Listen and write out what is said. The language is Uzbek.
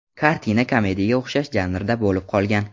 Kartina komediyaga o‘xshash janrda bo‘lib qolgan.